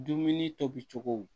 Dumuni tobi cogo